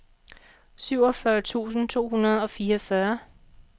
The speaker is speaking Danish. syvogfyrre tusind to hundrede og fireogfyrre